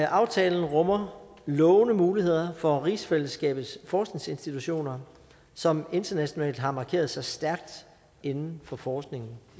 aftalen rummer lovende muligheder for rigsfællesskabets forskningsinstitutioner som internationalt har markeret sig stærkt inden for forskningen